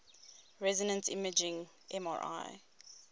resonance imaging mri